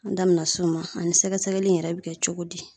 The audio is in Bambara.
An da bɛna se o ma, ani sɛgɛsɛgɛli in yɛrɛ bɛ kɛ cogo di.